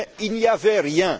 Mais il n'y avait rien.